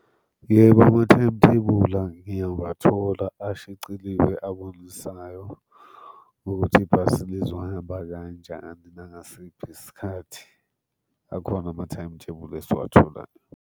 Yebo, ama-timetable ngiyawathola, ashiciliwe, abonisayo ukuthi ibhasi lizohamba kanjani nangasiphi isikhathi. Akhona ama-timetable esiwatholayo.